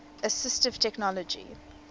assistive technology